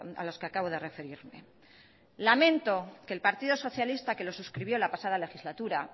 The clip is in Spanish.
a los que acabo de referirme lamento que el partido socialista que lo suscribió la pasada legislatura